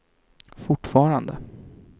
fortfarande